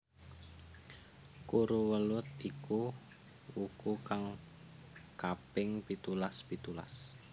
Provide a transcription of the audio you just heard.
Kuruwelut iku wuku kang kaping pitulas pitulas